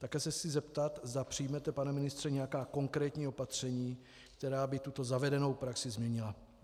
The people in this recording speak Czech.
Také se chci zeptat, zda přijmete, pane ministře, nějaká konkrétní opatření, která by tuto zavedenou praxi změnila.